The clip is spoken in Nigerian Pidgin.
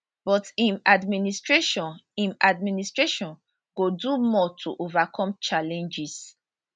but im administration im administration go do more to overcome challenges